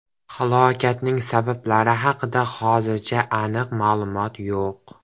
Halokatning sabablari haqida hozircha aniq ma’lumot yo‘q.